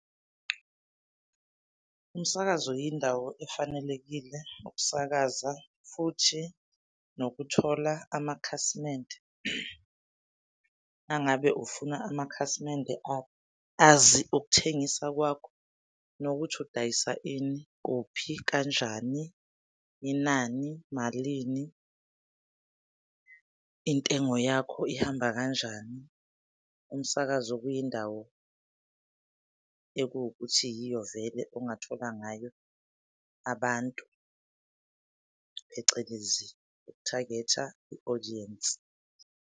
Umsakazo yindawo efanelekile ukusakaza futhi nokuthola amakhasimende mangabe ufuna amakhasimende azi ukuthengisa kwakho nokuthi udayisa ini, kuphi, kanjani, inani, malini? Intengo yakho ihamba kanjani? Umsakazo kuyindawo ekuwukuthi yiyo vele ongathola ngayo abantu, phecelezi i-target-a i-audience.